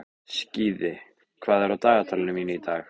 Skíði, hvað er á dagatalinu mínu í dag?